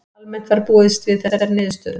Almennt var búist við þessari niðurstöðu